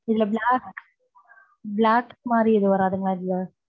இதுல black மாரி யாதும் வராதுங்கள இதுல.